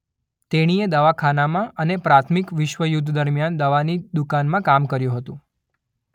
તેણીએ દવાખાનાંમાં અને પ્રથમ વિશ્વયુદ્ધ દરમિયાન દવાની દુકાનમાં કામ કર્યું હતું.